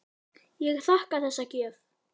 Ég þakka þessa gjöf.